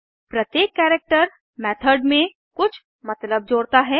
प्रत्येक character method में कुछ मतलब जोड़ता है